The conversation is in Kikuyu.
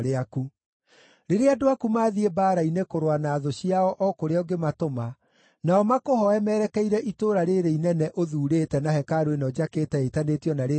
“Rĩrĩa andũ aku maathiĩ mbaara-inĩ kũrũa na thũ ciao o kũrĩa ũngĩmatũma, nao makũhooe merekeire itũũra rĩĩrĩ inene ũthuurĩte na hekarũ ĩno njakĩte ĩtanĩtio na Rĩĩtwa rĩaku,